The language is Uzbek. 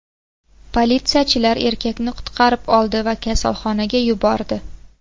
Politsiyachilar erkakni qutqarib oldi va kasalxonaga yubordi.